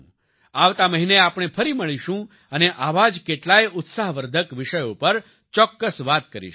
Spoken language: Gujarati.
આવતા મહિને આપણે ફરી મળીશું અને આવા જ કેટલાય ઉત્સાહવર્ધક વિષયો પર ચોક્કસ વાત કરીશું